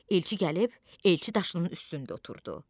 Elçi gəlib elçi daşının üstündə oturdu.